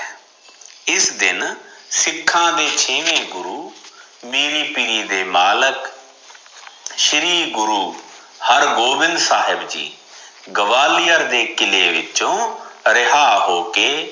ਇਸ ਦਿਨ ਸਿਖਾਂ ਦੇ ਛੇਵੇ ਗੁਰੂ ਮੀਰੀ ਪੀਰੀ ਦੇ ਮਾਲਕ ਸ਼੍ਰੀ ਗੁਰੂ ਹਰਗੋਬਿੰਦ ਸਾਹਿਬ ਜੀ ਗਵਾਲੀਅਰ ਦੇ ਕਿੱਲੇ ਵਿਚੋ ਰਿਹਾ ਹੋ ਕੇ